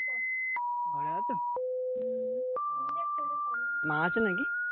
ঘরে আছো হম মা আছে নাকি?